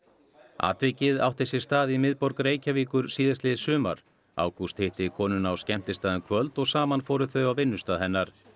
atvikið átti sér stað í miðborg Reykjavíkur síðastliðið sumar ágúst hitti konuna á skemmtistað um kvöld og saman fóru þau á vinnustað hennar